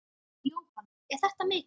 Jóhann: Er þetta mikið?